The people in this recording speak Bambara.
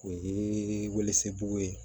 O ye welesebugu ye